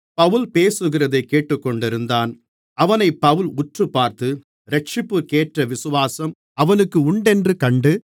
பவுல் பேசுகிறதைக் கேட்டுக்கொண்டிருந்தான் அவனைப் பவுல் உற்றுப்பார்த்து இரட்சிப்புக்கேற்ற விசுவாசம் அவனுக்கு உண்டென்று கண்டு